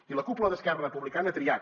i la cúpula d’esquerra republicana ha triat